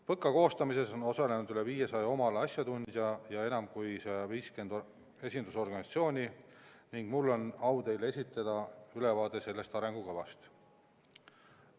PõKa koostamises on osalenud üle 500 oma ala asjatundja enam kui 150 esindusorganisatsioonist ning nüüd on mul au esitada teile ülevaade sellest arengukavast.